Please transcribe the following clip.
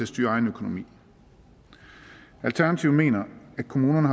styre egen økonomi alternativet mener at kommunerne